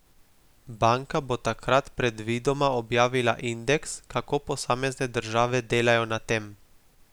Banka bo takrat predvidoma objavila indeks, kako posamezne države delajo na tem.